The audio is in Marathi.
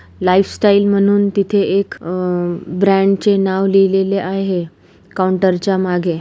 लाइफ स्टाइल म्हणून तिथे एक अ-- ब्रॅंड चे नाव लिहिलेले आहे काउंटर च्या मागे.